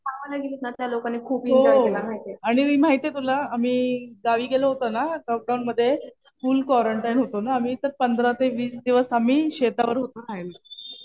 हो. आणि माहितीये तुला आम्ही गावी गेलो होतो ना, लॉक डाऊनमध्ये फुल क्वारंटाईन होतो ना आम्ही. तर पंधरा ते वीस दिवस आम्ही शेतावर होतो राहायला.